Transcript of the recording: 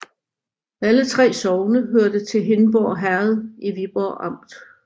Alle 3 sogne hørte til Hindborg Herred i Viborg Amt